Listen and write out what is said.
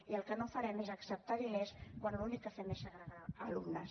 i el que no farem és acceptar diners quan l’únic que fem és segregar alumnes